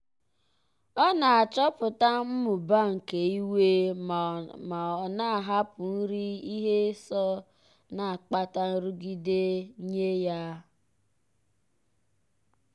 ọ na-achọpụta mmụba nke iwe ma ọ na-ahapụ nri ihe so na-akpata nrụgide nye ya.